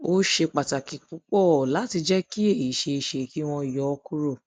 ó ṣe pàtàkì púpọ pàtàkì púpọ láti jẹ kí èyí ṣe é ṣe kí wọn yọ ọ kúrò